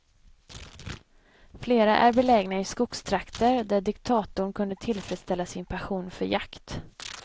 Flera är belägna i skogstrakter, där diktatorn kunde tillfredsställa sin passion för jakt.